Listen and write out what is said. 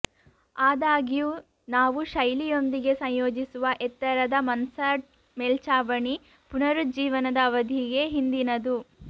ಆದಾಗ್ಯೂ ನಾವು ಶೈಲಿಯೊಂದಿಗೆ ಸಂಯೋಜಿಸುವ ಎತ್ತರದ ಮನ್ಸಾರ್ಡ್ ಮೇಲ್ಛಾವಣಿ ಪುನರುಜ್ಜೀವನದ ಅವಧಿಗೆ ಹಿಂದಿನದು